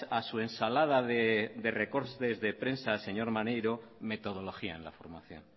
a su ensalada de recortes de prensa señor maneiro metodología en la formación